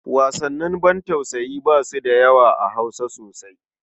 Wasannin bantausayi ba su da yawa a Hausa sosai.